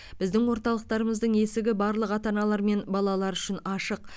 біздің орталықтарымыздың есігі барлық ата аналар мен балалар үшін ашық